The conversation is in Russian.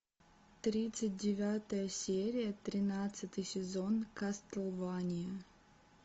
тридцать девятая серия тринадцатый сезон кастлвания